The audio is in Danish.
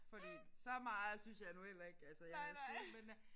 Fordi så meget syntes jeg nu heller ikke altså jeg havde set men øh